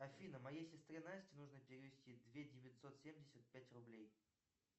афина моей сестре насте нужно перевести две девятьсот семьдесят пять рублей